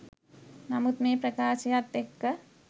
නමුත් මේ ප්‍රකාශයත් එක්ක